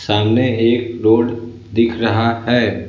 सामने एक रोड दिख रहा है।